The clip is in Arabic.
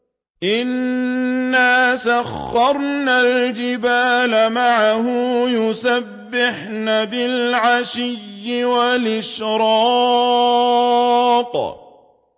إِنَّا سَخَّرْنَا الْجِبَالَ مَعَهُ يُسَبِّحْنَ بِالْعَشِيِّ وَالْإِشْرَاقِ